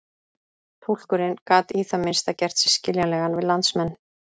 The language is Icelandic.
Túlkurinn gat í það minnsta gert sig skiljanlegan við landsmenn.